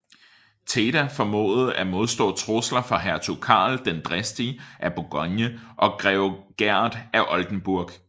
Theda formåede at modstå trusler fra hertug Karl den Dristige af Bourgogne og grev Gerd af Oldenburg